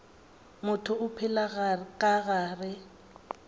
motho o phela ka gare